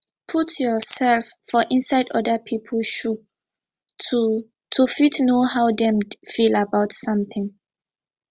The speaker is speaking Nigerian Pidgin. put yourself for inside oda pipo shoe to to fit know how dem feel about something